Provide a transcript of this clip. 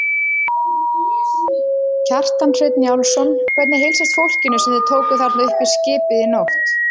Kjartan Hreinn Njálsson: Hvernig heilsast fólkinu sem þið tókuð þarna upp í skipið í nótt?